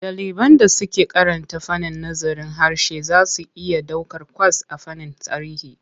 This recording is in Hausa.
Ɗaliban da suke karanta fannin nazarin harshe za su iya ɗaukar kwas a fannin tarihi.